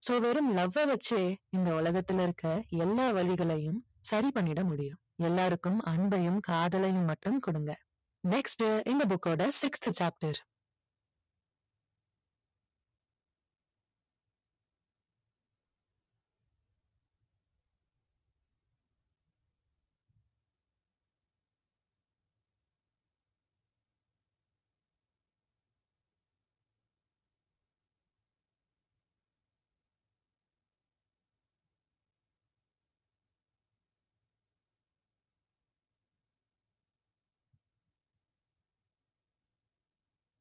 so வெறும் லவ்வ வச்சே இந்த உலகத்துல இருக்க எல்லா வலிகளையும் சரி பண்ணிடமுடியும் எல்லாருக்கும் அன்பையும் காதலையும் மட்டும் கொடுங்க next இந்த book ஓட sixth chapters